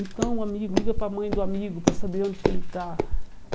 Então, amigo, liga para mãe do amigo para saber onde que ele está.